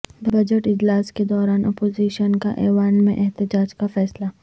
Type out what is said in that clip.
budget اجلاس کے دوران اپوزیشن کا ایوان میں احتجاج کا فیصلہ